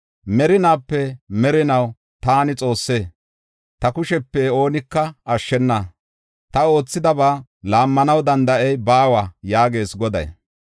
Merinaape merinaw taani Xoosse; ta kushepe oonika ashshena; ta oothidaba laammanaw danda7ey baawa” yaagees Goday.